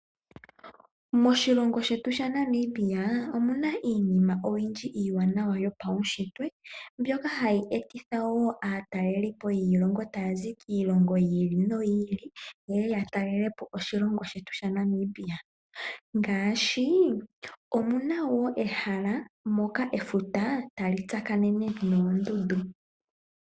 Moshilongo shetu shaNamibia omuna iinima oyindji iiwanawa yopaunshitwe mbyoka hayi etitha woo aataleli po yiilongo taya zi kiilongo yi ili noyi ili yeye ya yatalele po oshilongo shetu shaNamibia. Ngaashi omuna woo ehala mpoka efuta tali tsakanene noondundu.